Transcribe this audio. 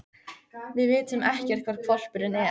Við vitum ekkert hvar hvolpurinn er.